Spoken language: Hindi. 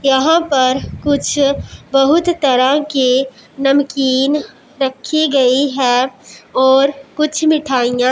यहां पर कुछ बहुत तरह के नमकीन रखी गई है और कुछ मिठाइयां--